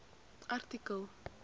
artikel